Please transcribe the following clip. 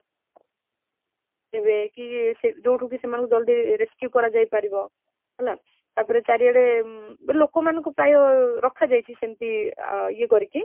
ଏବେ କି ଯୋଉଠୁକି ସେମାନଙ୍କୁ ଜଲ୍ଦି rescue କରା ଯାଇ ପାରିବ ହେଲା, ତାପରେ ଚାରି ଆଡେ ଅମ୍ ଲୋକ ମାନଙ୍କ ପାଇଁ ରକ୍ଷା ଯାଇଛି ସେମିତି ଅ ଏ କରିକି